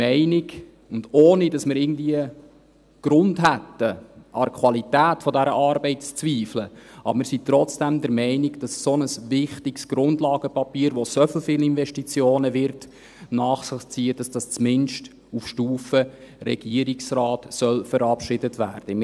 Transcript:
Ohne dass wir irgendwie Grund hätten, an der Qualität zu zweifeln: Wir sind trotzdem der Meinung, dass ein so wichtiges Grundlagenpapier, das so viele Investitionen nach sich ziehen wird, zumindest auf Stufe Regierungsrat verabschiedet werden soll.